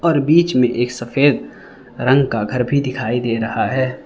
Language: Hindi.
और बीच में एक सफेद रंग का घर भी दिखाई दे रहा है।